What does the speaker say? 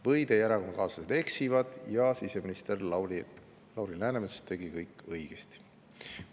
Või Teie erakonnakaaslased eksivad ja siseminister Lauri Läänemets tegi kõik õigesti?